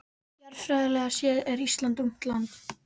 Jarðfræðilega séð er Ísland ungt land.